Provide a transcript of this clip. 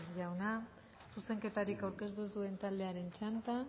jauna zuzenketarik aurkeztu ez duen taldearen txanda